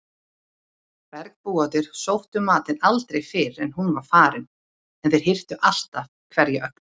Bergbúarnir sóttu matinn aldrei fyrr en hún var farin en þeir hirtu alltaf hverja ögn.